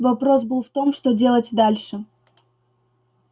вопрос был в том что делать дальше